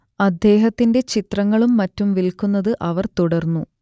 അദ്ദേഹത്തിന്റെ ചിത്രങ്ങളും മറ്റും വിൽക്കുന്നത് അവർ തുടർന്നു